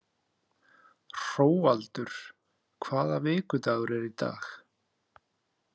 Hróaldur, hvaða vikudagur er í dag?